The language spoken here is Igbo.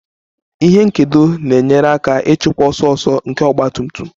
Ihe nkedo na-enyere aka ịchịkwa ọsọ ọsọ nke ọgba tum tum